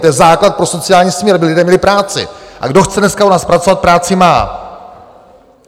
To je základ pro sociální smír, aby lidé měli práci, a kdo chce dneska u nás pracovat, práci má.